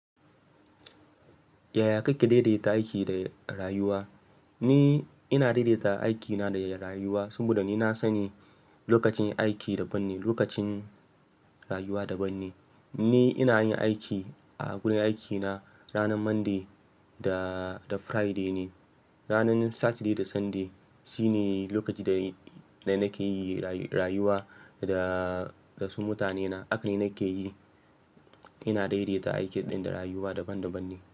Yaya kake daidaita aiki da rayuwa? Ni ina daidaita aikina da rayuwa, saboda ni na sani lokacin aiki daban ne, lokacin rayuwa daban ne. Ni ina yin aiki a wurin aikina ranar Monday da Friday ne. Ranar Saturday da Sunday shine lokacin da nake yi rayuwa da, da su mutanena. Haka ne nake yi. Ina daidaita aikin ɗin da rayuwa daban-daban ne.